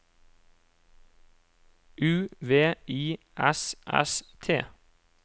U V I S S T